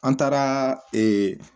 An taara